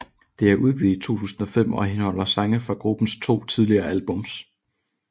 Det blev udgivet i 2005 og indeholder sange fra gruppens to tidligere albums